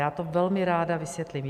Já to velmi ráda vysvětlím.